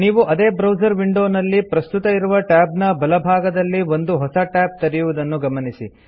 ನೀವು ಅದೇ ಬ್ರೌಸರ್ ವಿಂಡೊನಲ್ಲಿ ಪ್ರಸ್ತುತ ಇರುವ ಟ್ಯಾಬ್ನ ಬಲ ಭಾಗದಲ್ಲಿ ಒಂದು ಹೊಸ ಟ್ಯಾಬ್ ತೆರೆಯುವುದನ್ನು ಗಮನಿಸಿ